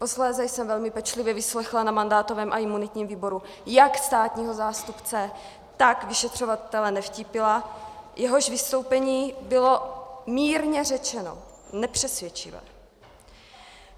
Posléze jsem velmi pečlivě vyslechla na mandátovém a imunitním výboru jak státního zástupce, tak vyšetřovatele Nevtípila, jehož vystoupení bylo mírně řečeno nepřesvědčivé.